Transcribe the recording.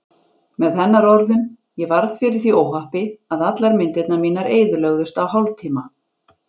Með hennar orðum: Ég varð fyrir því óhappi að allar myndirnar mínar eyðilögðust á hálftíma.